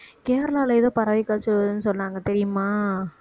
கேரளால ஏதோ பறவை காய்ச்சலுன்னு சொன்னாங்க தெரியுமா